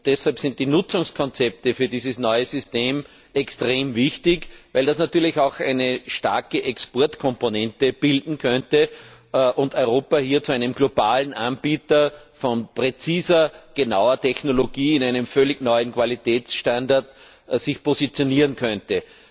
Deshalb sind die Nutzungskonzepte für dieses neue System extrem wichtig, weil das natürlich auch eine starke Exportkomponente bilden könnte und Europa sich hier zu einem globalen Anbieter von präziser genauer Technologie in einem völlig neuen Qualitätsstandard positionieren könnte.